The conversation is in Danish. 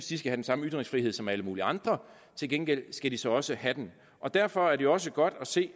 de skal den samme ytringsfrihed som alle mulige andre til gengæld skal de så også have den derfor er det også godt at se